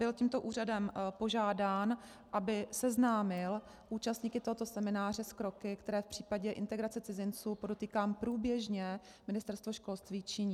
Byl tímto úřadem požádán, aby seznámil účastníky tohoto semináře s kroky, které v případě integrace cizinců, podotýkám průběžně, Ministerstvo školství činí.